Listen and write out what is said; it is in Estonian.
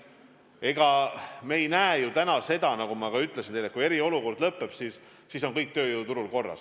Ega me ei arva ju täna seda, nagu ma ka teile ütlesin, et kui eriolukord lõppeb, siis on kõik tööjõuturul korras.